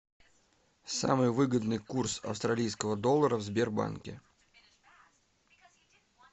самый выгодный курс австралийского доллара в сбербанке